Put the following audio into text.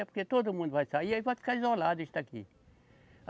É porque todo mundo vai sair, aí vai ficar isolado isso daqui.